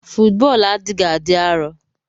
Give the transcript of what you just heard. Fọọtbọlụ adighi adi arọ.